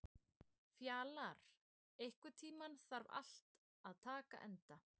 Fjalar, einhvern tímann þarf allt að taka enda.